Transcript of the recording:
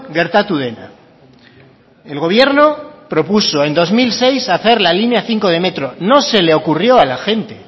gertatu dena el gobierno propuso en dos mil seis hacer la línea cinco de metro no se le ocurrió a la gente